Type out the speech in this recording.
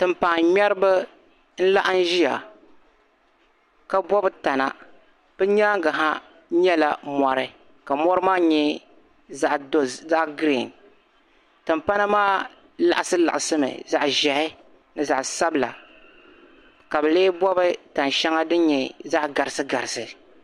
Timpaaŋŋmɛriba n-laɣim ʒia ka bɔbi tana. Bɛ nyaaŋga ha yɛla mɔri ka mɔri maa nyɛ zaɣ' girin. Timpana maa liɣisiliɣisimi zaɣ' ʒiɛhi ni zaɣ' sabila ka bɛ lee bɔbi tani shɛŋa din nyɛ zaɣ' garisigarisi.